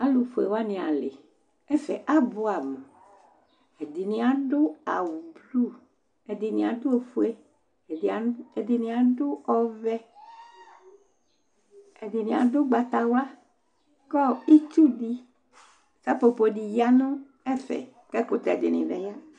Alʋfue wanɩ alɩ Ɛfɛ abʋɛamʋ Ɛdɩnɩ adʋ awʋblu, ɛdɩnɩ adʋ ofue, ɛdɩ adʋ ɛdɩnɩ adʋ ɔvɛ, ɛdɩnɩ adʋ ʋgbatawla kʋ itsu dɩ, sapopo dɩ ya nʋ ɛfɛ kʋ ɛkʋtɛ dɩ bɩ ya nʋ